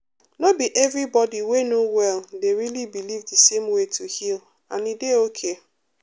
no be everybody wey no well dey really believe the same way to heal and e dey okay.